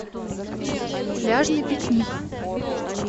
пляжный пикник